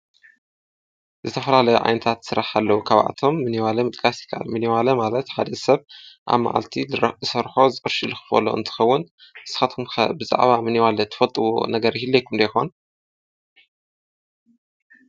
ዝተፈላለዩ ዓይነታት ስርሕቲ ኣለዉ። ካብኣቶም ሚኒዋሎ ምጥቃስ ይከኣል። ምኒዋሎ ማለት ሓደ ሰብ ኣብ መዓልቲ ዝሰርሖ ቅርሺ ዝክፈሎ እንትኸዉን። ንስኻትኩም ከ ብዛዕባ ምኒዋሎ ትፈልጥዎ ነገር ይህሉ ዶ ይኾን?